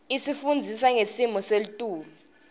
isifundisa ngesimo setulu